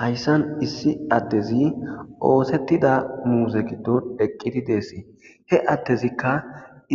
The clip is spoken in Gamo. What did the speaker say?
Hayssan issi addezi oosettida muuze giddon deqqidi deessi he attezikka